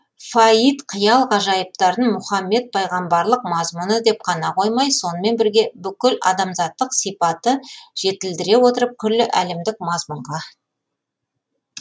фаид қиял ғажайыптарын мұхаммед пайғамбарлық мазмұны деп қана қоймай сонымен бірге бүкіл адамзаттық сипаты жетілдіре отырып күллі әлемдік мазмұнға